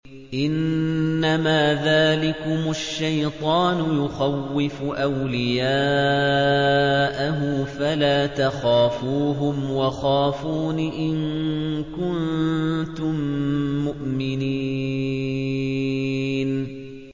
إِنَّمَا ذَٰلِكُمُ الشَّيْطَانُ يُخَوِّفُ أَوْلِيَاءَهُ فَلَا تَخَافُوهُمْ وَخَافُونِ إِن كُنتُم مُّؤْمِنِينَ